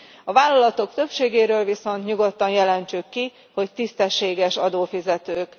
A vállalatok többségéről viszont nyugodtan jelentsük ki, hogy tisztességes adófizetők.